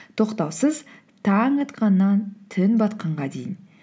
тоқтаусыз таң атқаннан түн батқанға дейін